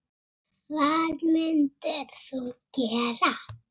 Hvað mundir þú gera?